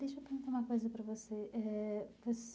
Deixa eu perguntar uma coisa para você eh.